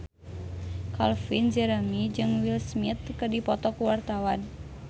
Calvin Jeremy jeung Will Smith keur dipoto ku wartawan